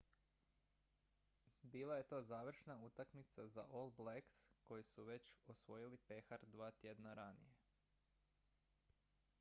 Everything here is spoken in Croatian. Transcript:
bila je to završna utakmica za all blacks koji su već osvojili pehar dva tjedna ranije